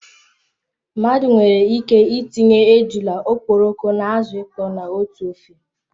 Mmadụ nwere ike itinye ejula, okporoko na azụ ịkpọ na otú ofe